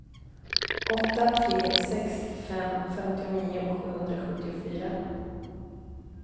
åtta tre sex fem femtionio sjuhundrasjuttiofyra